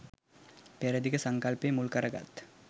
පෙර දිග සංකල්පය මුල් කරගත්